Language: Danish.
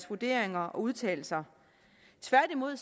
vurderinger og udtalelser tværtimod